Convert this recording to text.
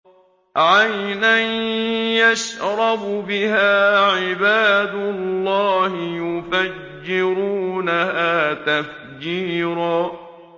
عَيْنًا يَشْرَبُ بِهَا عِبَادُ اللَّهِ يُفَجِّرُونَهَا تَفْجِيرًا